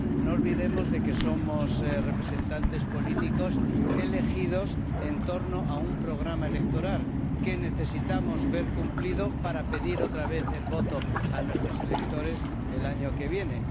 no olvidemos que somos representantes políticos elegidos en torno a un programa electoral que necesitamos ver cumplido para pedir otra vez el voto a nuestros electores el año que viene.